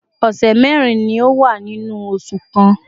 ọ̀sẹ̀ mẹ́rin ni ó wà nínú oṣù kan